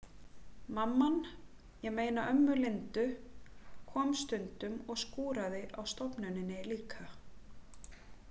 Mamman, ég meina ömmu Lindu, kom stundum og skúraði á stofnuninni líka.